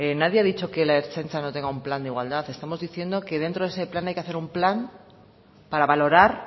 nadie a dicho que la ertzaintza no tenga un plan de igualdad estamos diciendo que dentro de ese plan hay que hacer un plan para valorar